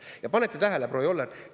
Kas panete tähele, proua Joller?